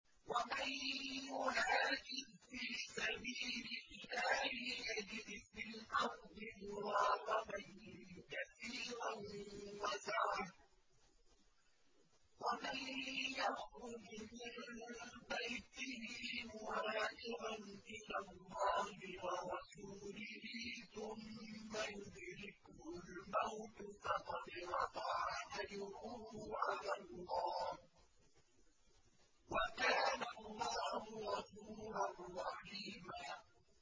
۞ وَمَن يُهَاجِرْ فِي سَبِيلِ اللَّهِ يَجِدْ فِي الْأَرْضِ مُرَاغَمًا كَثِيرًا وَسَعَةً ۚ وَمَن يَخْرُجْ مِن بَيْتِهِ مُهَاجِرًا إِلَى اللَّهِ وَرَسُولِهِ ثُمَّ يُدْرِكْهُ الْمَوْتُ فَقَدْ وَقَعَ أَجْرُهُ عَلَى اللَّهِ ۗ وَكَانَ اللَّهُ غَفُورًا رَّحِيمًا